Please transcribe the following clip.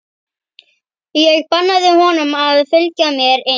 Ég bannaði honum að fylgja mér inn.